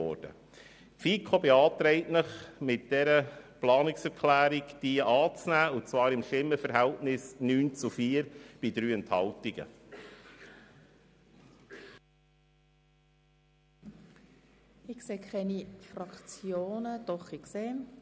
Die FiKo-Mehrheit beantragt Ihnen bei einem Kommissionsentscheid von 9 Ja- gegen 4 Nein-Stimmen bei 3 Enthaltungen, diese Planungserklärung anzunehmen.